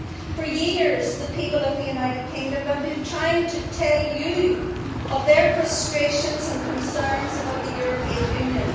For years the people of the United Kingdom have been trying to tell you of their frustrations and concerns about the European Union.